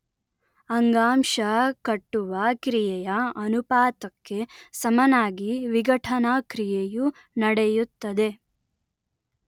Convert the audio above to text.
ಅಂಗಾಂಶ ಕಟ್ಟುವ ಕ್ರಿಯೆಯ ಅನುಪಾತಕ್ಕೆ ಸಮನಾಗಿ ವಿಘಟನಾ ಕ್ರಿಯೆಯು ನಡೆಯುತ್ತದೆ